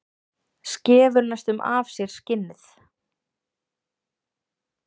Skefur næstum af sér skinnið.